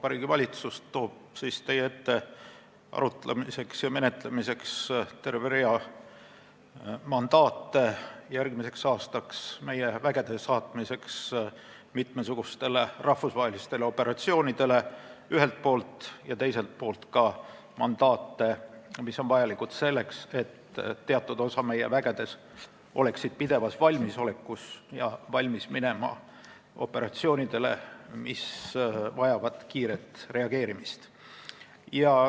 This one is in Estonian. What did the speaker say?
Vabariigi Valitsus toob teie ette arutamiseks ja menetlemiseks ühelt poolt terve rea mandaate järgmiseks aastaks, et saata meie vägesid mitmesugustele rahvusvahelistele operatsioonidele, ja teiselt poolt ka mandaate, mis on vajalikud selleks, et teatud osa meie vägedest oleksid pidevas valmisolekus, valmis minema operatsioonidele, mis vajavad kiiret reageerimist.